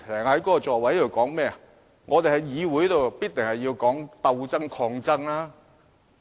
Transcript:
他說我們在議會內必須談鬥爭、抗爭。